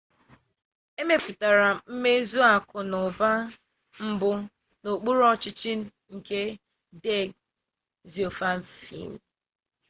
e mepụtara mmezi akụ na ụba mbụ n'okpuru ọchịchị nke deng xiaoping